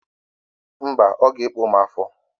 Mbaǃ Ọ g'eko m afọ.